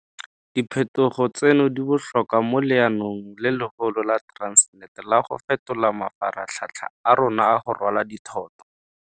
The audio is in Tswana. Diphetogo tseno di botlhokwa mo leanong le legolo la Transnet la go fetola mafaratlhatlha a rona a go rwala dithoto.